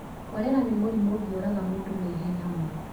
Korera nĩ mũrimũ ũngĩũraga mũndũ na ihenya mũno.